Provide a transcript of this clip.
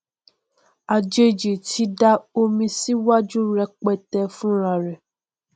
àjèjì ti da omi síwájú rẹpẹtẹ fúnrarẹ